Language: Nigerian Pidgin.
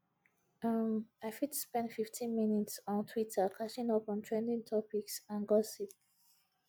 um i fit spend 15 minutes on twitter catching up on trending topics and gossip